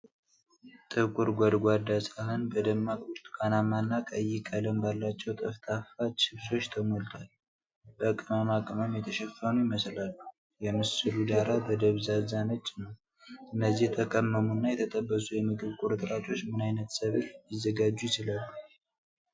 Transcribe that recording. ጥቁር ጎድጓዳ ሳህን በደማቅ ብርቱካናማ እና ቀይ ቀለም ባላቸው ጠፍጣፋ፣ ችፕሶች ተሞልቷል። በቅመማ ቅመም የተሸፈኑ ይመስላሉ፤ የምስሉ ዳራ ደብዝዞ ነጭ ነው። እነዚህ የተቀመሙ እና የተጠበሱ የምግብ ቁርጥራጮች ከምን ዓይነት ሰብል ሊዘጋጁ ይችላሉ?